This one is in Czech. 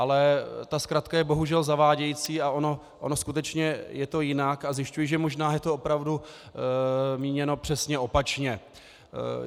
Ale ta zkratka je bohužel zavádějící a ono skutečně je to jinak a zjišťuji, že možná je to opravdu míněno přesně opačně.